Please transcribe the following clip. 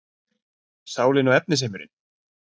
Sálin og efnisheimurinn